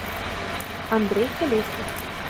андрей колесник